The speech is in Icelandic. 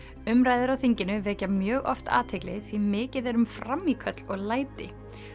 umræður á þinginu vekja mjög oft athygli því mikið er um frammíköll og læti